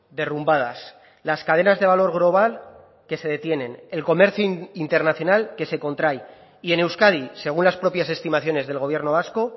derrumbadas las cadenas de valor global que se detienen el comercio internacional que se contrae y en euskadi según las propias estimaciones del gobierno vasco